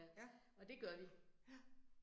Ja. Ja